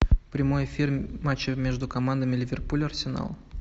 прямой эфир матча между командами ливерпуль арсенал